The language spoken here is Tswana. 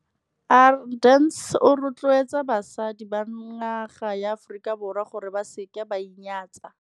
Arendse o rotloetsa basadi ba naga ya Aforika Borwa gore ba se ke ba inyatsa.